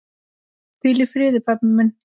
Hvíl í friði, pabbi minn.